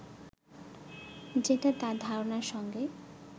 যেটা তার ধারণার সঙ্গে